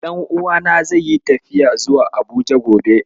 Ɗan'uwana zai yi tafiya zuwa Abuja gobe.